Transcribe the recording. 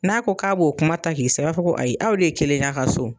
N'a ko k'a b'o kuma ta k'i sɛgɛrɛ i b'a fɔ ko ayi aw de ye kelen ye a ka so